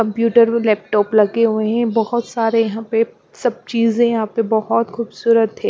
Computer व laptop लगे हुए हैं बहोत सारे यहाँ पे सब चीजें यहाँ पे बहोत खूबसूरत है।